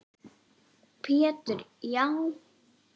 Pétur: Já